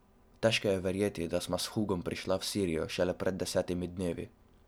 Težko je verjeti, da sva s Hugom prišla v Sirijo šele pred desetimi dnevi.